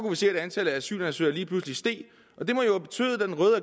vi se at antallet af asylansøgere lige pludselig steg